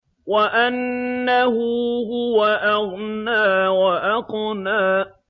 وَأَنَّهُ هُوَ أَغْنَىٰ وَأَقْنَىٰ